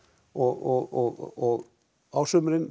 og á sumrin